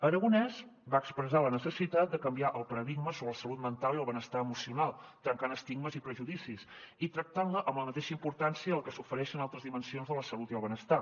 aragonès va expressar la necessitat de canviar el paradigma sobre la salut mental i el benestar emocional trencant estigmes i prejudicis i tractant los amb la mateixa importància que s’ofereix a altres dimensions de la salut i el benestar